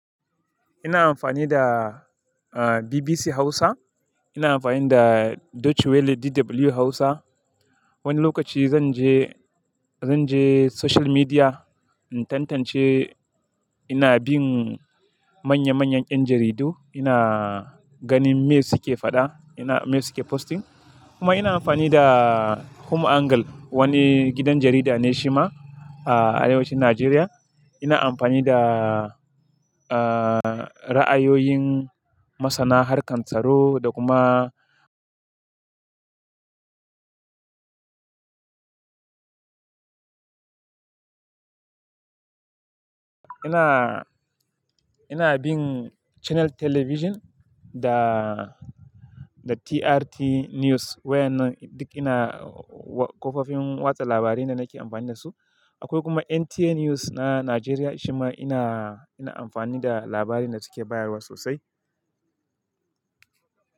Ina amfani da, ah, BBC Hausa. Ina amfani da Deutsche Welle DW Hausa. Wani lokaci zan je, zan je social media in tantance ina bin manya-manyan 'yan jaridu. Ina ganin me suke faɗa, ina-- me suke posting. Kuma ina amfani da HumAngle, wani gidan jarida ne shi ma a arewacin Najeriya. Ina amfani da, ah, ra'ayoyin Masana Harkan Tsaro da kuma ina, ina bin Channel Television da, da TRT News wayannan duk ina wa-- kafofin watsa labarai ne nake amfani da su. Akwai kuma NTA News na Najeriya shi ma ina, ina amfani da labarin da suke bayarwa sosai.